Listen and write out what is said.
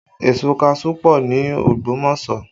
Èso kaṣuú pọ ní Ogbomoso